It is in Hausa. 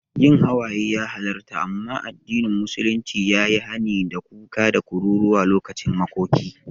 Yin hawaye ya halarta, amma addinin musulunci ya yi hani da kuka da kururuwa lokacin makoki.